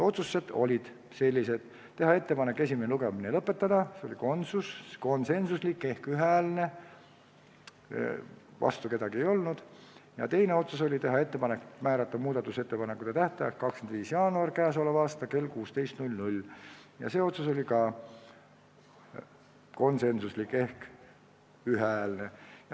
Otsused olid sellised: teha ettepanek esimene lugemine lõpetada ja teine otsus oli teha ettepanek määrata muudatusettepanekute esitamise tähtajaks 25. jaanuar k.a kell 16 .